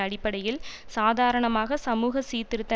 அடிப்படையில் சாதாரணமாக சமூக சீர்திருத்த